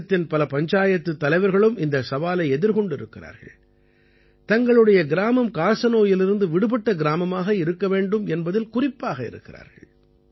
தேசத்தின் பல பஞ்சாயத்துத் தலைவர்களும் இந்தச் சவாலை எதிர்கொண்டிருக்கிறார்கள் தங்களுடைய கிராமம் காசநோயிலிருந்து விடுபட்ட கிராமமாக இருக்க வேண்டும் என்பதில் குறிப்பாக இருக்கிறார்கள்